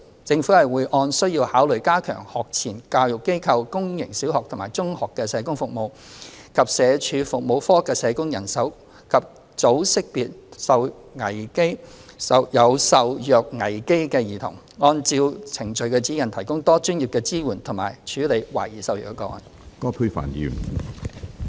政府會按需要考慮加強學前教育機構、公營小學及中學的社工服務，以及社署服務課的社工人手，及早識別有受虐危機的兒童，按照《程序指引》提供多專業的支援及處理懷疑受虐個案。